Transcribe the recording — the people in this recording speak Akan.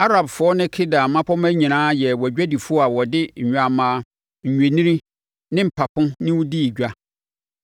“ ‘Arabfoɔ ne Kedar mmapɔmma nyinaa yɛɛ wʼadwadifoɔ a wɔde nnwammaa, nnwennini ne mpapo ne wo dii edwa.